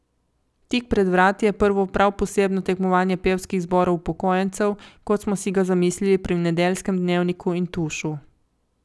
Tik pred vrati je prvo prav posebno tekmovanje pevskih zborov upokojencev, kot smo si ga zamislili pri Nedeljskem dnevniku in Tušu.